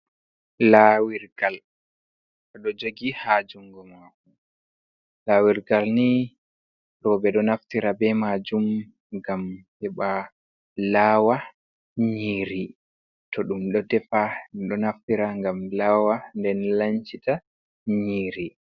Lawirgal ɗo jogi ha juungo maku. Lawirgal nii rowɓe ɗo naftira be majum ngam heba lawa nyiri, to ɗum ɗo defa ɗo naftira ngam lawa nden lancita nyiri.